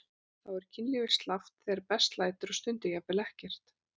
Þá er kynlífið slappt þegar best lætur og stundum jafnvel ekkert.